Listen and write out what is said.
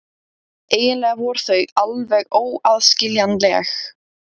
Eiginlega voru þau alveg óaðskiljanleg.